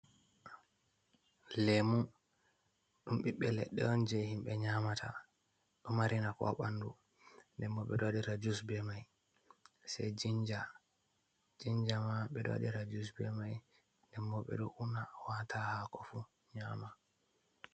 Lemu, ɗum ɓiɓɓe leɗɗe on je himɓe nyamata. Ɗo mari nafu ha ɓandu. Nden bo be do wadira jus be mai. Sei jinja, jinja ma ɓe do wadira jus be mai. Nden bo ɓe ɗo una waata ha hako fu, nyaama.